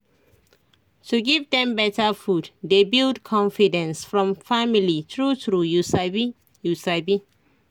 to give dem better food dey build confidence from family true true you sabi you sabi